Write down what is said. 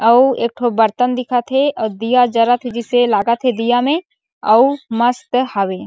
अउ एकठो बर्तन दिखथ हे अउ दिया जलथ हे जइसे लागत हे दिया में अउ मस्त हावे।